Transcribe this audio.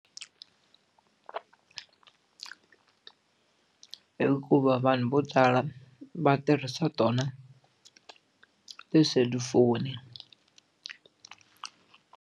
Hikuva vanhu vo tala va tirhisa tona tiselufoni.